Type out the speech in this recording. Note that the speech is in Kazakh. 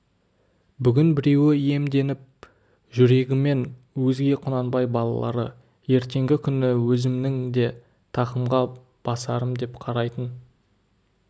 бүгін біреуі иемденіп жүргенімен өзге құнанбай балалары ертеңгі күні өзімнің де тақымға басарым деп қарайтын